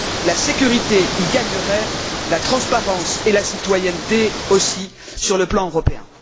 La sécurité y gagnerait, la transparence et la citoyenneté aussi, sur le plan européen.